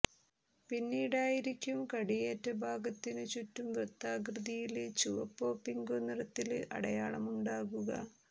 പിന്നീടായിരിക്കും കടിയേറ്റ ഭാഗത്തിനു ചുറ്റും വൃത്താകൃതിയില് ചുവപ്പോ പിങ്കോ നിറത്തില് അടയാളമുണ്ടാകുക